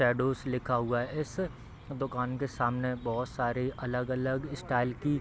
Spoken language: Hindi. सड़ोस लिखा हुआ है इस दुकान के सामने बहोत सारे अलग अलग स्टाइल की --